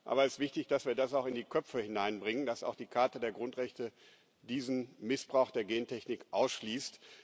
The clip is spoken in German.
Aber es ist wichtig, dass wir das auch in die Köpfe hineinbringen, dass auch die Charta der Grundrechte diesen Missbrauch der Gentechnik ausschließt.